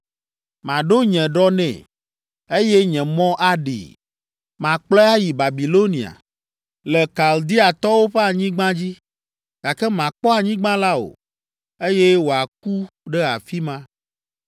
Maɖo nye ɖɔ nɛ, eye nye mɔ aɖee. Makplɔe ayi Babilonia, le Kaldeatɔwo ƒe anyigba dzi, gake makpɔ anyigba la o, eye wòaku ɖe afi ma.